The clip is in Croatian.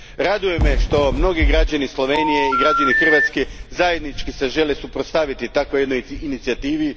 Raduje me što se mnogi građani Slovenije i građani Hrvatske zajednički žele suprotstaviti jednoj takvoj inicijativi.